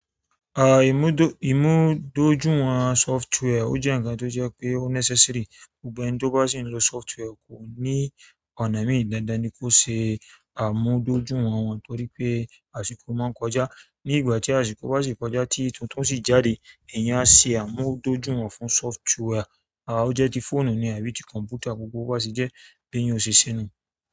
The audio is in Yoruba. À ìmúdójúìwọ̀n software ó jẹ́ ǹkan tó jẹ́ pé ó necessary. Gbogbo ẹni tó bá sì ń lo software kò ní ọ̀nà mí dáadáa ni kó ṣe àmúdójúwọ̀n wọ́n torí pé àṣìko máa ń kọjá. Ní ìgbà tí àṣìko bá sì kọjá tí tuntun sì jáde, èèyàn á se àmúdójúwọ̀n fún software. À ó jẹ́ ti fóònù ni àbí ti kọ̀m̀pútà, gbogbo bo ba se jẹ́ bi eyan o ṣe sẹ́nu.